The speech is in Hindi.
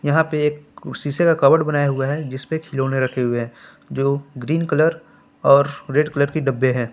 यहां पे एक शीशे का कबर्ड बनाया हुआ है जिस पे खिलौने रखे हुए हैं जो ग्रीन कलर और रेड कलर के डब्बे हैं।